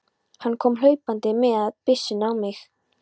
Hann kom hlaupandi og miðaði byssunni á mig.